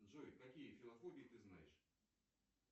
джой какие филофобии ты знаешь